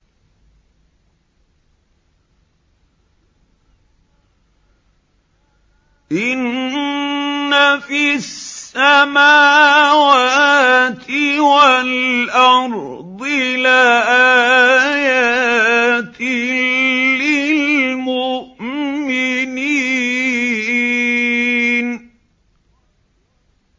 إِنَّ فِي السَّمَاوَاتِ وَالْأَرْضِ لَآيَاتٍ لِّلْمُؤْمِنِينَ